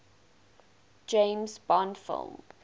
james bond film